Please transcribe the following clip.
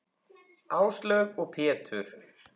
Áslaug og Pétur.